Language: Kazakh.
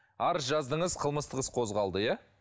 арыз жаздыңыз қылмыстық іс қозғалды иә